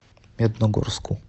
медногорску